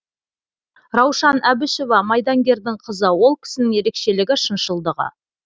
раушан әбішева майдангердің қызы ол кісінің ерекшелігі шыншылдығы